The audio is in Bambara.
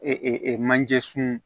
manje sun